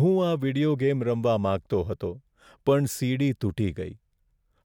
હું આ video game રમવા માંગતો હતો પણ સીડી તૂટી ગઈ.